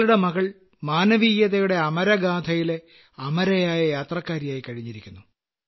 താങ്കളുടെ മകൾ മാനവീയതയുടെ അമരഗാഥയിലെ അമരയായ യാത്രക്കാരിയായിക്കഴിഞ്ഞിരിക്കുന്നു